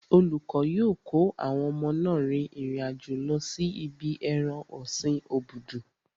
Olùkọ́ yóò kó àwọn ọmọ náà rin ìrìn àjò lọ sí ibi ẹran ọ̀sin obudu.